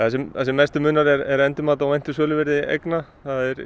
mestu munar er endurmat á væntu söluvirði eigna